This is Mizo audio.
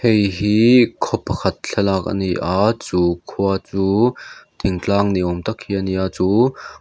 hei hi khaw pakhat thlalak a ni a chu khua chu thing tlang ni awm tak hi a ni a chu--